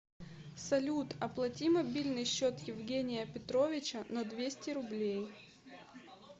салют оплати мобильный счет евгения петровича на двести рублей